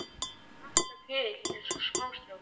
Ég hlakka til eins og smástrákur.